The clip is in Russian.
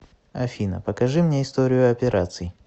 афина покажи мне историю операций